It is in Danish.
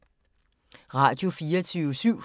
Radio24syv